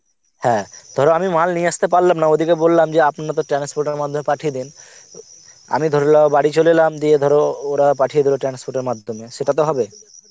হ্যাঁ ধর আমি মাল নিয়ে আসতে পারলাম না, ওদেরকে বললাম যে আপনার তো transport এর মাধ্যমে পাঠিয়ে দিন, আমি ধরে নাও বাড়ি চলে এলাম দিয়ে ধর ওরা পাঠিয়ে দিল transport এর মাধ্যমে, সেটা তো হবে?